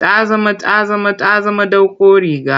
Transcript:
Ta zama ta zama ta zama ɗauko riga.